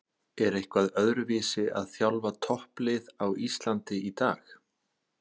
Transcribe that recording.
Er eitthvað öðruvísi að þjálfa topplið á Íslandi í dag?